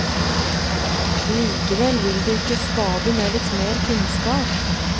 Likevel vil det ikke skade med litt mer kunnskap.